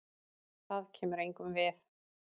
Það kemur engum við.